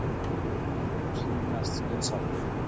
Þau sýnast skynsamleg.